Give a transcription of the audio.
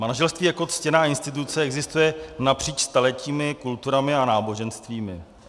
Manželství jako ctěná instituce existuje napříč staletími, kulturami a náboženstvími.